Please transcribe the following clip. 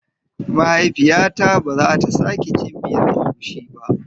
Mahaifiyata bazata sake cin miyan egusi ba.